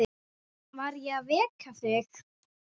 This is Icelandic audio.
Var ég að vekja þig?